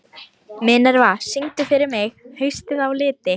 Minerva, syngdu fyrir mig „Haustið á liti“.